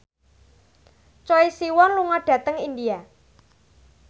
Choi Siwon lunga dhateng India